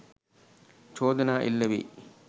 චෝදනා එල්ල වෙයි